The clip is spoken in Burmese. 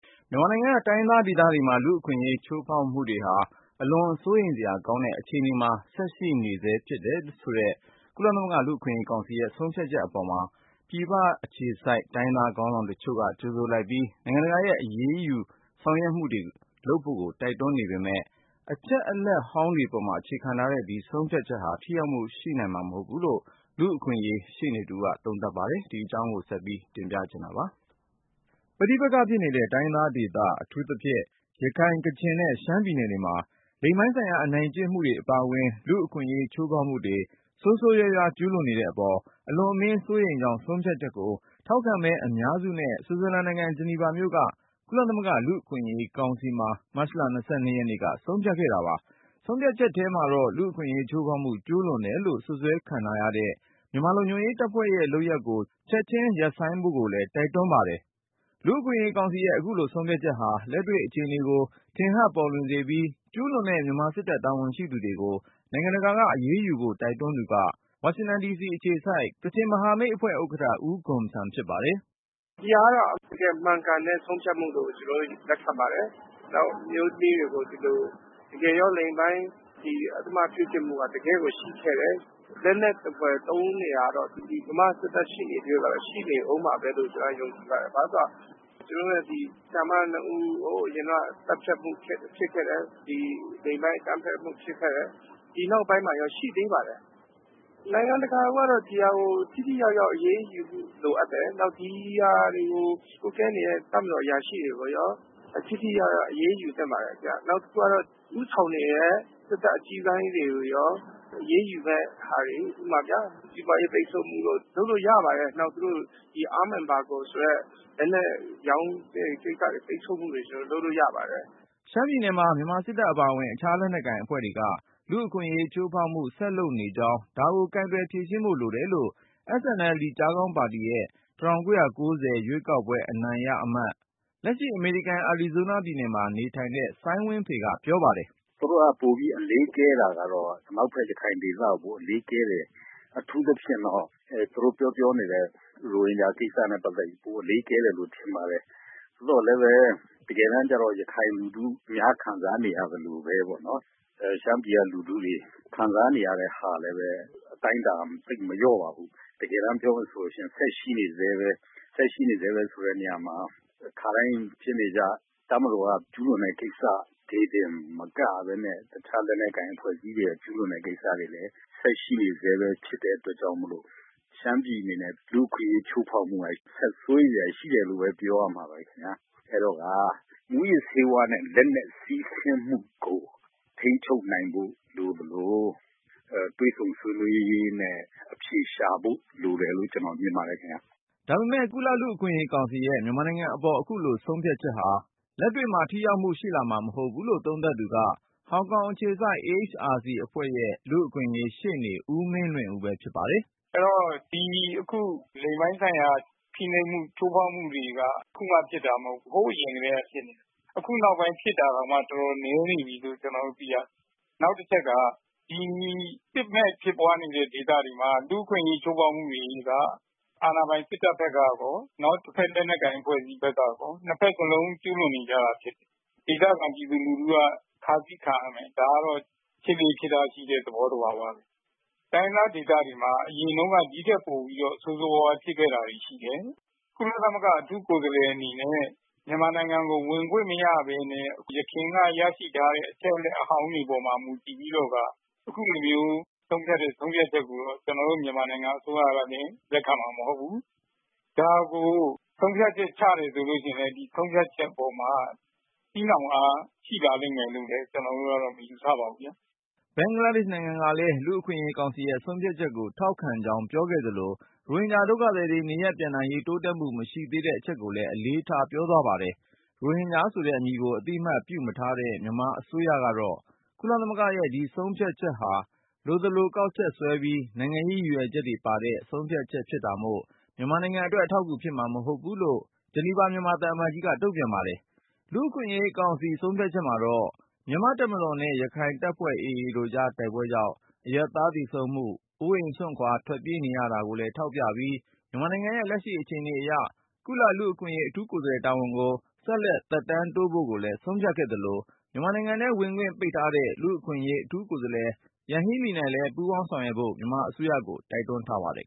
မြန်မာနိုင်ငံက တိုင်းရင်းသားဒေသတွေမှာ လူ့အခွင့်အရေး ချိုးဖောက်မှုတွေဟာ အလွန် စိုးရိမ်စရာ ကောင်းတဲ့အခြေအနေမှာ ဆက်ရှိနေဆဲဖြစ် တယ်ဆိုတဲ့ ကုလသမဂ္ဂ လူ့အခွင့်အရေးကောင်စီရဲ့ဆုံးဖြတ်ချက်အပေါ် ပြည်ပအခြေစိုက် တိုင်းရင်းသား ခေါင်းဆောင်တချို့က ကြိုဆိုလိုက်ပြီး နိုင်ငံတကာရဲ့ အရေးယူ ဆောင်ရွက်မှုတွေလုပ်ဖို့ တိုက်တွန်းနေပေမယ့် အချက်အလက်ဟောင်းတွေပေါ် အခြေခံထားတဲ့ ဒီဆုံးဖြတ်ချက်ဟာ ထိရောက်မှု ရှိနိုင်မှာ မဟုတ်ဘူးလို့ လူ့အခွင့်အရေး ရှေ့နေတဦးက သုံးသပ်ပါတယ်။ ကိုဉာဏ်ဝင်းအောင်က စုစည်းတင်ပြထားတာပါ။ ပဋိပက္ခဖြစ်နေတဲ့ တိုင်းရင်းသားဒေသ အထူးသဖြင့် ရခိုင်၊ ကချင်နဲ့ ရှမ်းပြည်နယ်တွေမှာ လိင်ပိုင်းဆိုင်ရာ အနိုင်ကျင့်မှု အပါအဝင် လူ့အခွင့်အရေး ချိုးဖောက်မှုတွေ ဆိုးဆိုးရွားရွား ကျူးလွန်နေတဲ့အပေါ် အလွန်အမင်း စိုးရိမ်ကြောင်း ဆုံးဖြတ်ချက်ကို ထောက်ခံမဲ အများစုနဲ့ ဆွစ်ဇာလန်နိုင်ငံ ဂျနီဗာမြို့က ကုလသမဂ္ဂ လူ့အခွင့်အရေးကောင်စီမှာ မတ်လ ၂၂ ရက်က ဆုံးဖြတ်ခဲ့တာပါ။ ဆုံးဖြတ်ချက်ထဲမှာတော့ လူ့အခွင့်အရေး ချိုးဖောက်မှု ကျူးလွန်တယ်လို့ စွပ်စွဲခံထားရတဲ့ မြန်မာလုံခြုံရေးတပ်ဖွဲ့ရဲ့ လုပ်ရပ်တွေကို ချက်ခြင်း ရပ်ဆိုင်းဖို့ကိုလည်း တိုက်တွန်းထားပါတယ်။ လူ့အခွင့်အရေး ကောင်စီရဲ့ အခုလို ဆုံးဖြတ်ချက်ဟာ လက်တွေ့အခြေအနေကို ထင်ဟပ်ပေါ်လွင်စေပြီး၊ ကျူးလွန်တဲ့ မြန်မာစစ်တပ် တာဝန်ရှိ သူတွေကို နိုင်ငံတကာက အရေးယူဖို့ တိုက်တွန်းသူက ဝါရှင်တန်ဒီစီအခြေစိုက် ကချင်မဟာမိတ်အဖွဲ့ ဥက္ကဌ ဦးဂွန်ဆမ်ဖြစ်ပါတယ်။ "ဒီဟာက ကျနော်တို့ မှန်ကန်တဲ့ ဆုံးဖြတ်မှုလို့ ကျနော်တို့ လက်ခံပါတယ်။ နောက် အမျိုးသမီးတွေကို ဒီလို လိင်ပိုင်း အဓမ္မပြုကျင့်မှုက တကယ့်ကို ရှိခဲ့တယ်။ လက်နက်သဖွယ် သုံးနေတာကတော့ မြန်မာ့စစ်တပ် ရှိနေသ၍ကတော့ ရှိနေအုံးမှာပဲလို့ ကျနော်ကတော့ ယုံကြည်ပါတယ်။ ဘာဖြစ်လို့လဲဆိုတော့ ကျနော်တို့ရဲ့ ဒီဆရာမ ၂ ဦး ဟိုးအရင်တုန်းက သတ်ဖြတ်မှုဖြစ်ခဲ့တယ်။ ဒီလိင်ပိုင်း အကြမ်းဖက်မှု ဖြစ်ခဲ့တယ်။ ဒီနောက်ပိုင်းမှာရော ရှိသေးပါတယ်။ နိုင်ငံတကာကိုကတော့ ဒီဟာကို ထိထိရောက်ရောက် အရေးယူမှု လိုအပ်တယ်။ နောက် ဒီဟာတွေကို ကွပ်ကဲနေတဲ့ တပ်မတော် အရာရှိတွေကိုရော ထိထိရောက်ရောက် အရေးယူသင့်ပါတယ်။ နောက်တခုကတော့ ဦးဆောင်နေတဲ့ စစ်တပ်အကြီးပိုင်းတွေကိုရော အရေးယူမဲ့ဟာတွေ ဥပမာဗျာ စီးပွားရေး ပိတ်ဆို့မှုတို့ လုပ်လို့ရပါတယ်။ နောက် သူတို့ arms embargo ဆိုတဲ့ လက်နက်ရောင်းတဲ့ ကိစ္စတွေ ပိတ်ဆို့မှုတွေ ကျနော်တို့ လုပ်လို့ရပါတယ်။" ရှမ်းပြည်နယ်မှာ မြန်မာစစ်တပ် အပါအဝင် အခြား လက်နက်ကိုင်အဖွဲ့တွေက လူ့အခွင့်အရေးချိုးဖောက်မှု ဆက်လုပ်နေကြောင်း ဒါကိုကိုင်တွယ် ဖြေရှင်းဖို့လိုတယ်လို့ SNLD ကျားခေါင်းပါတီရဲ့ ၁၉၉၀ ရွေးကောက်ပွဲ အနိုင်ရအမတ်၊ လက်ရှိ အမေရိကန် အာရီဇိုးနားပြည်နယ်မှာ နေထိုင်တဲ့ စိုင်းဝင်းဖေက ပြောပါတယ်။ "သူတို့က ပိုပြီး အလေးကျဲတာကတော့ အနောက်ဘက် ရခိုင်ဒေသကို အလေးကျဲတယ်။ အထူးသဖြင့်တော့ သူတို့ပြောပြောနေတဲ့ ရိုဟင်ဂျာကိစ္စနဲ့ ပတ်သက်ပြီး ပိုအလေးကျဲတယ်လို့ ထင်ပါတယ်။ သို့သော်လည်းပဲ တကယ်တန်းကျတော့ ရခိုင်လူထုများ ခံစားနေရသလိုပဲပေါ့နော်... ရှမ်းပြည်က လူထုတွေ ခံစားနေရတဲ့ဟာကလည်း အတိုင်းအတာ သိပ်မလျော့ပါဘူး။ တကယ်တန်းပြောမယ်ဆိုလို့ရှိရင် ဆက်ရှိနေဆဲပဲ။ ဆက်ရှိနေဆဲပဲဆိုတဲ့ နေရာမှာ ခါတိုင်းဖြစ်နေကျ တပ်မတော်က ကျူးလွန်တဲ့ ကိစ္စလေးတင်မကဘဲနဲ့ တခြားလက်နက်ကိုင် အဖွဲ့အစည်းတွေက ကျူးလွန်တဲ့ ကိစ္စတွေလည်း ဆက်ရှိနေဆဲပဲ ဖြစ်တဲ့အတွက်ကြောင့်မို့ ရှမ်းပြည်အနေနဲ့ လူ့အခွင့်အရေး ချိုးဖောက်မှုက ဆက်စိုးရိမ်စရာတွေ ရှိတယ်လို့ပဲ ပြောရမှာပါပဲ ခင်ဗျာ။ အဲ့တော့ မူးယစ်ဆေးဝါးနဲ့ လက်နက် စီးဆင်းမှုကို ထိန်းချုပ်နိုင်ဖို့ လိုသလို တွေ့ဆုံဆွေးနွေးရေးနဲ့ အဖြေရှာဖို့ လိုတယ်လို့ ကျနော်မြင်ပါတယ် ခင်ဗျာ။" ဒါပေမဲ့ ကုလ လူ့အခွင့်အရေးကောင်စီရဲ့ မြန်မာနိုင်ငံအပေါ် အခုလိုဆုံးဖြတ်ချက်ဟာ လက်တွေ့မှာ ထိရောက်မှုရှိလာမှာ မဟုတ်ဘူးလို့ သုံးသပ်သူက ဟောင်ကောင်အခြေစိုက် AHRC အဖွဲ့ရဲ့ လူ့အခွင့်အရေးရှေ့နေ ဦးမင်းလွင်ဦးပဲဖြစ်ပါတယ်။ "အဲ့တော့ ဒီအခု လိင်ပိုင်းဆိုင်ရာ ဖိနှိပ်မှု ချိုးဖောက်မှုတွေက ခုမှဖြစ်တာမဟုတ်ဘူး။ ဟိုးအရင်ထဲက ဖြစ်နေတာ။ အခုနောက်ပိုင်း ဖြစ်တာတောင်မှ တော်တော်နည်းနေပြီလို့ ကျနော်တို့ သိရတယ်။ နောက်တချက်က ဒီစစ်မဲ့ ဖြစ်ပွားနေတဲ့ ဒေသတွေမှာ လူူ့အခွင့်အရေးချိုးဖောက်မှုတွေက အာဏာပိုင် စစ်တပ်ဘက်ကရော တဘက် လက်နက်ကိုင် အဖွဲ့အစည်းဘက်ကရော ၂ ဘက်စလုံး ကျူးလွန်နေကျတာ ဖြစ်တယ်။ ဒေသခံ ပြည်သူလူထုက ခါးစည်းခံရမယ်။ ဒါဖြစ်လေ့ဖြစ်ထရှိတဲ့ သဘောသဘာဝပဲ။ တိုင်းရင်းသားဒေသတွေမှာ အရင်တုန်းက ဒီထက်ပိုပြီးတော့ ဆိုးဆိုးရွားရွား ဖြစ်ခဲ့တာတွေရှိတယ်။ ကုလသမဂ္ဂ အထူးကိုယ်စားလှယ်အနေနဲ့ မြန်မာနိုင်ငံကို ဝင်ခွင့်မရဘဲနဲ့ ယခင်က ရရှိထားတဲ့ အချက်အလက်အဟောင်းတွေပေါ်မှာ မူတည်ပြီးတော့ အခုလိုမျိုး ဆုံးဖြတ်တဲ့ ဆုံးဖြတ်ချက်ကိုတော့ ကျနော်တို့ မြန်မာနိုင်ငံ အစိုးရက လက်ခံမှာ မဟုတ်ဘူး။ ဒါကို ဆုံးဖြတ်ချက်ချတယ်ဆိုလို့ရှိရင်လည်း ဒီဆုံးဖြတ်ချက်အပေါ်မှာ ထိရောက်အား ရှိနိုင်လိမ့်မယ်လို့လည်း ကျနော်တို့က မယူဆပါဘူး ခင်ဗျာ။" ဘင်္ဂလားဒေ့ရှ်နိုင်ငံကလည်း လူ့အခွင့်အရေးကောင်စီရဲ့ ဆုံးဖြတ်ချက်ကို ထောက်ခံကြောင်း ပြောဆိုခဲ့သလို ရိုဟင်ဂျာဒုက္ခသည်တွေ နေရပ် ပြန်နိုင်ရေး တိုးတက်မှု မရှိသေးတဲ့အချက်ကိုလည်း အလေးထား ပြောသွားပါတယ်။ ရိုဟင်ဂျာဆိုတဲ့ အမည်ကို အသိအမှတ် ပြုမထားတဲ့ မြန်မာအစိုးရကတော့ ကုလသမဂ္ဂရဲ့ ဒီဆုံးဖြတ်ချက်ဟာ လိုသလိုကောက်ချက်ဆွဲပြီး နိုင်ငံရေး ရည်ရွယ်ချက်တွေပါတဲ့ ဆုံးဖြတ်ချက် ဖြစ်တာမို့ မြန်မာနိုင်ငံအတွက် အထောက်အကူဖြစ်မှာ မဟုတ်ဘူးလို့ ဂျနီဗာမြန်မာသံအမတ်ကြီးက တုံ့ပြန်ပါတယ်။ လူ့အခွင့်အရေးကောင်စီ ဆုံးဖြတ်ချက်မှာတော့ မြန်မာ့တပ်မတော်နဲ့ ရခိုင်တပ်ဖွဲ့ တို့ကြား တိုက်ပွဲကြောင့် အရပ်သား သေဆုံးမှု အိုးအိမ် စွန့်ခွာ ထွက်ပြေးနေရတာကိုလည်း ထောက်ပြပြီး မြန်မာနိုင်ငံရဲ့ လက်ရှိအခြေအနေအရ ကုလသမဂ္ဂ လူ့အခွင့်အရေး အထူးကိုယ်စားလှယ် တာဝန်ကို ဆက်လက် သက်တမ်းတိုးဖို့ကိုလည်း ဆုံးဖြတ်ခဲ့သလို၊ မြန်မာနိုင်ငံထဲ ဝင်ခွင့် ပိတ်ထားတဲ့ လူ့အခွင့်အရေး အထူးကိုယ်စားလှယ် Yanghee Lee နဲ့ ပူးပေါင်းဆောင်ရွက်ဖို့ မြန်မာအစိုးရကို တိုက်တွန်းထားပါတယ်